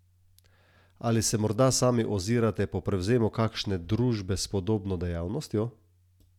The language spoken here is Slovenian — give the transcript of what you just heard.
Ali se morda sami ozirate po prevzemu kakšne družbe s podobno dejavnostjo?